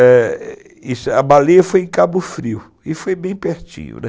a baleia foi em Cabo Frio, e foi bem pertinho, né.